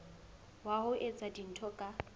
wa ho etsa dintho ka